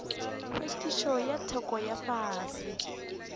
hlwekišo ya theko ya fase